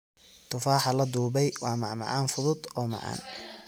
Tufaaxa la dubay waa macmacaan fudud oo macaan.